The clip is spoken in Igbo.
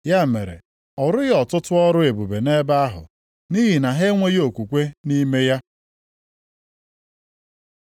Ya mere, ọ rụghị ọtụtụ ọrụ ebube nʼebe ahụ, nʼihi na ha enweghị okwukwe nʼime ha.